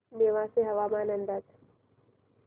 नेवासे हवामान अंदाज